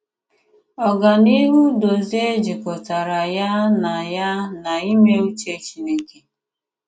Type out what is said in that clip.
Ògànìhù Dòzìè jikòtàrà ya na ya na ìmè ùchè Chìnékè.